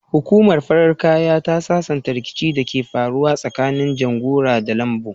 Hukumar farin kaya ta sasanta ricikin da ke faruwa tsakanin janguza da lambu